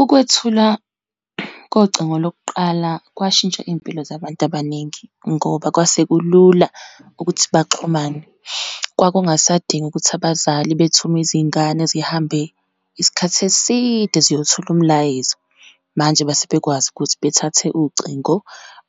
Ukwethula kocingo lokuqala kwashintsha iy'mpilo zabantu abaningi, ngoba kwase kulula ukuthi baxhumane. Kwakungasadingi ukuthi abazali bethume izingane, zihambe isikhathi eside ziyothula umlayezo. Manje base bekwazi ukuthi bethathe ucingo